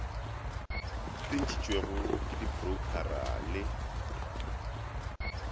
di tsentšhitšwego ke diporoukhara le